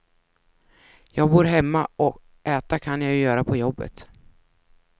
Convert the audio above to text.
Jag bor hemma och äta kan jag ju göra på jobbet.